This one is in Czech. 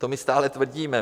To my stále tvrdíme.